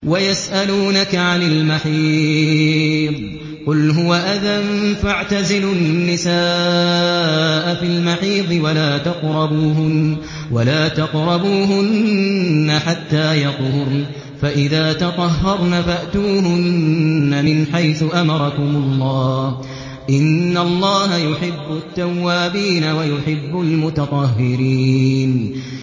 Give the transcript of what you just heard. وَيَسْأَلُونَكَ عَنِ الْمَحِيضِ ۖ قُلْ هُوَ أَذًى فَاعْتَزِلُوا النِّسَاءَ فِي الْمَحِيضِ ۖ وَلَا تَقْرَبُوهُنَّ حَتَّىٰ يَطْهُرْنَ ۖ فَإِذَا تَطَهَّرْنَ فَأْتُوهُنَّ مِنْ حَيْثُ أَمَرَكُمُ اللَّهُ ۚ إِنَّ اللَّهَ يُحِبُّ التَّوَّابِينَ وَيُحِبُّ الْمُتَطَهِّرِينَ